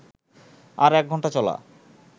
আর এক ঘন্টা চলা